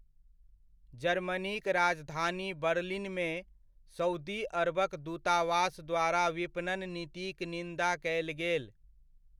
जर्मनीक राजधानी बर्लिनमे, सउदी अरबक दूतावास द्वारा विपणन नीतिक निन्दा कयल गेल।